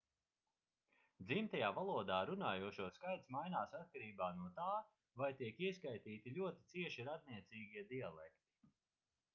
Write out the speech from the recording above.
dzimtajā valodā runājošo skaits mainās atkarībā no tā vai tiek ieskaitīti ļoti cieši radniecīgie dialekti